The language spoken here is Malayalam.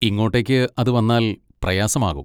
ഇങ്ങോട്ടേക്ക് അത് വന്നാൽ പ്രയാസമാകും.